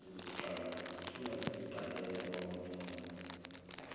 zithunywa ziziqalela kwamathanda